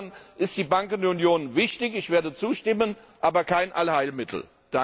Insofern ist die Bankenunion wichtig ich werde zustimmen aber kein Allheilmittel.